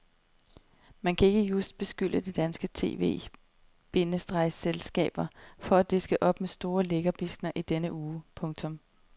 Man kan ikke just beskylde de danske tv- bindestreg selskaber for at diske op med de store lækkerbiskner i denne uge. punktum